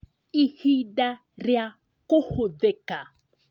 Ihinda rĩa kũhũthĩka